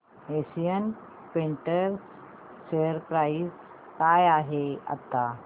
Asian Paints share price काय आहे आता